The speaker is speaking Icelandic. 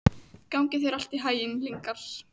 Gangi þér allt í haginn, Lyngar.